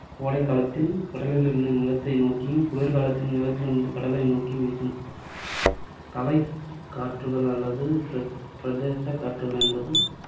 கோடைக்காலத்தில் கடலிலிருந்து நிலத்தை நோக்கியும், குளிர்காலத்தில் நிலத்திலிருந்து கடலை நோக்கியும் வீசும். தலக்காற்றுகள் அல்லது பிரதே~ பிரதேசக் காற்றுகள் என்பது